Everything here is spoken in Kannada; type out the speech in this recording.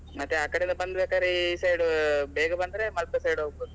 ಮತ್ತೆ ಆ ಕಡೆಯಿಂದ ಬಂದ್ ಬೇಕಾದ್ರೆ ಈ side ಬೇಗ ಬಂದ್ರೆ ಮಲ್ಪೆ side ಹೊಗ್ಬೋದು.